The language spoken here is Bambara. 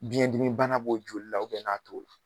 Biɲɛ dimi bana b'o joli la n'a to